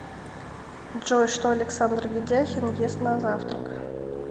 джой что александр ведяхин ест на завтрак